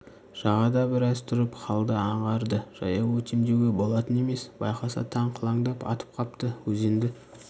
жағада біраз тұрып халды аңғарды жаяу өтем деуге болатын емес байқаса таң қылаңдап атып қапты өзенді